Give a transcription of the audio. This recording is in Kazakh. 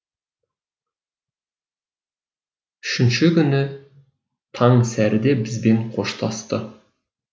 үшінші күні таңсәріде бізбен қоштасты